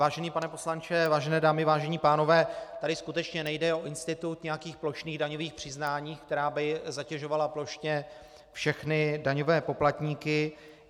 Vážený pane poslanče, vážené dámy, vážení pánové, tady skutečně nejde o institut nějakých plošných daňových přiznání, která by zatěžovala plošně všechny daňové poplatníky.